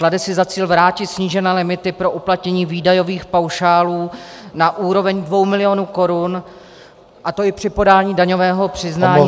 Klade si za cíl vrátit snížené limity pro uplatnění výdajových paušálů na úroveň dvou milionů korun, a to i při podání daňového přiznání za rok -